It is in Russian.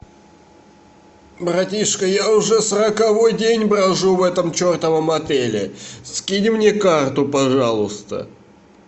братишка я уже сороковой день брожу в этом чертовом отеле скинь мне карту пожалуйста